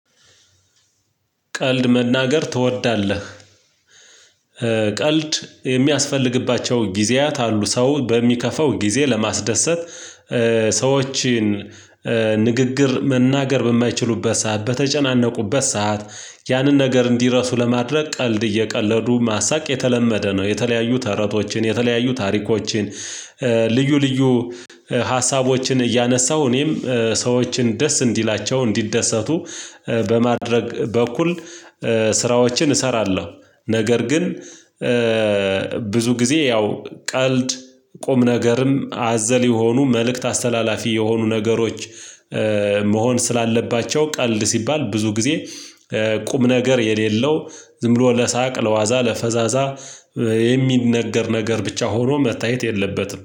ቀልድ መናገር ትወዳለህ? ቀልድ የሚያስፈልግባቸው ጊዜያት አሉ ሰው በሚከፈው ጊዜ ለማስደሰት ሰዎችን ንግግር መናገር በማይችሉበት ሰዓት በተጨናነቁበት ሰዓት ያንን ነገር እንዲረሱ ለማድረግ ቀልድ እየቀለዱ ማሳቅ የተለመደ ነው። የተለያዩ ተረቶችን የተለያዩ ታሪኮችን ልዩ ልዩ ሀሳቦችን እያነሳው እኔም ሰዎችን ደስ እንዲላቸው እንዲደሰቱ በማድረግ በኩል ስራዎችን እሰራለሁ። ነገር ግን ብዙ ጊዜ ያው ቀልድ ቁም ነገርም አዘል የሆኑ መልእክት አስተላላፊ የሆኑ ነገሮች። መሆን ስላለባቸው ቀልድ ሲባል ብዙ ጊዜ ቁም ነገር የሌለው ዝም ብሎ ለሳቅ ለዋዛ ለፈዛዛ የሚነገር ነገር ብቻ ሆኖ መታየት የለበትም